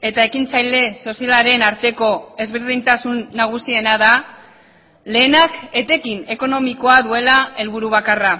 eta ekintzaile sozialaren arteko ezberdintasun nagusiena da lehenak etekin ekonomikoa duela helburu bakarra